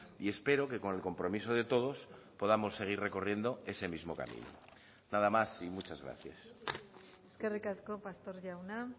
y espero que con el compromiso de todos podamos seguir recorriendo ese mismo camino nada más y muchas gracias eskerrik asko pastor jauna